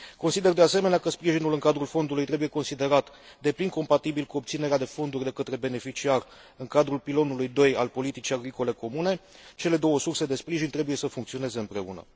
Consider, de asemenea, că sprijinul în cadrul Fondului trebuie considerat pe deplin compatibil cu obținerea de fonduri de către beneficiar în cadrul pilonului II al politicii agricole comune cele două surse de sprijin trebuie să funcționeze împreună.